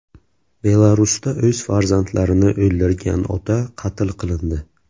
Belarusda o‘z farzandlarini o‘ldirgan ota qatl qilindi.